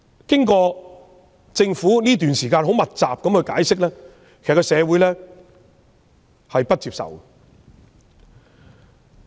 即使政府近期密集解釋，社會仍不能接受。